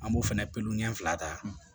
An b'o fɛnɛ pepe fila ta